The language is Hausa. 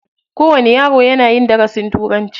Kowani yaro yana yin darasin turanci.